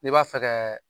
N'i b'a fɛ ka